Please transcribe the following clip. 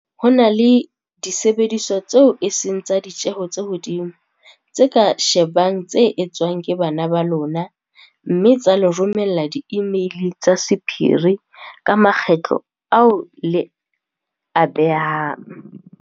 "Ho na le disebediswa tseo e seng tsa ditjeho tse hodimo tse ka shebang tse etswang ke bana ba lona mme tsa le romella diimeili tsa sephiri ka makgetlo ao le a behang."